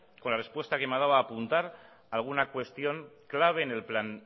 con la respuesta que me ha dado a apuntar alguna cuestión clave en el plan